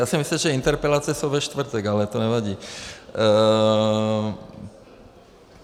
Já jsem myslel, že interpelace jsou ve čtvrtek, ale to nevadí.